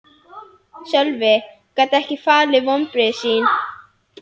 Sölvi gat ekki falið vonbrigði sín.